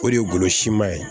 O de ye golo siman ye